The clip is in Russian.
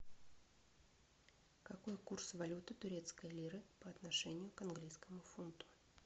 какой курс валюты турецкой лиры по отношению к английскому фунту